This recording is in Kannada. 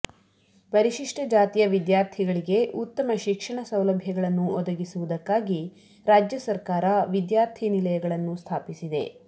ಪರಿಶಿಷ್ಟ ಜಾತಿಯ ವಿದ್ಯಾರ್ಥಿಗಳಿಗೆ ಉತ್ತಮ ಶಿಕ್ಷಣ ಸೌಲಭ್ಯಗಳನ್ನು ಒದಗಿಸುವುದಕ್ಕಾಗಿ ರಾಜ್ಯ ಸರ್ಕಾರ ವಿದ್ಯಾರ್ಥಿನಿಲಯಗಳನ್ನು ಸ್ಥಾಪಿಸಿದೆ